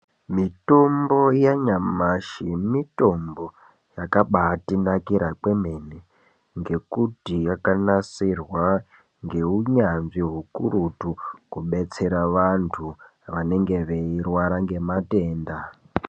Mitombo yanyamashi mitombo yakabatinakira kwemene ngekuti yakanasirwa ngeunyanzvi ukurutu kubetsera vantu vanenge veirwara ngematenda.